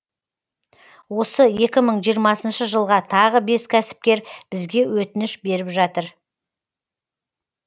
осы екі мың жиырма жылға тағы бес кәсіпкер бізге өтініш беріп жатыр